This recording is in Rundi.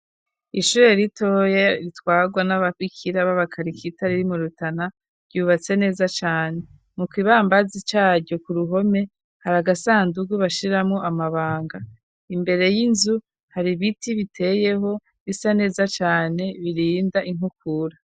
Ishure ritoye ritwarwa n'abapikira b'abakarik ita ri ri mu Rutana, ryubatse neza cane mukibambazi caryo ku ruhome hari agasandugu bashiramo amabanga, imbere y'inzu hari biti biteyeho bisa neza cane birinda inkukura.